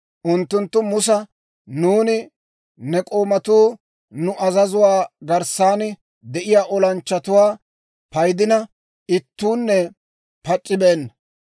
Unttunttu Musa, «Nuuni ne k'oomatuu nu azazuwaa garssan de'iyaa olanchchatuwaa paydina, ittuunne pac'c'ibeenna.